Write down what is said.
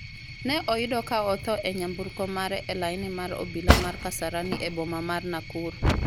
ne oyudo ka otho e nyamburko mare e laini mar obila mar Kasarani e boma mar Nakuru.